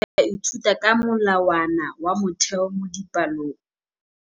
Baithuti ba ithuta ka molawana wa motheo mo dipalong.